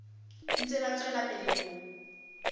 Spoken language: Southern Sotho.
ntse ba tswela pele ho